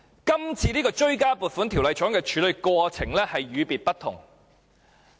這次追加撥款條例草案的處理過程與別不同。